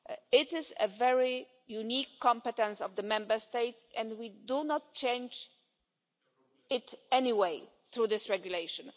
It is a very unique competence of the Member States, and we will not change it in any way through this regulation.